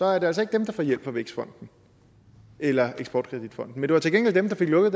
er det altså ikke ham der får hjælp af vækstfonden eller eksport kredit fonden men det var til gengæld ham der fik lukket